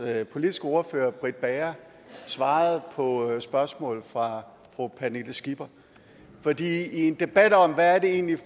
politiske ordfører britt bager svarede på et spørgsmål fra fru pernille skipper for i en debat om hvad det egentlig